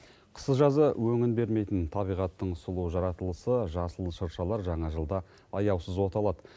қысы жазы өңін бермейтін табиғаттың сұлу жаратылысы жасыл шыршалар жаңа жылда аяусыз оталады